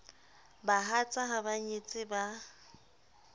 bahatsa ha ba nyetse ba